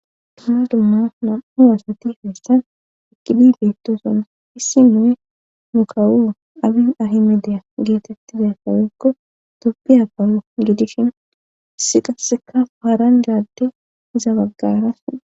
dumma dumma nam7u wasati feessan eqqidi beettoson issi mune nu kawu abi ahime deya geetettiza sawekko dopbiapalo gidishin issi qasseka paaran laadde iza baggaras